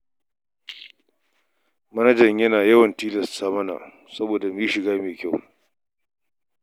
Manajanmu yana yawan tilasta mana mu yi shiga mai kyau.